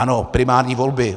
Ano, primární volby.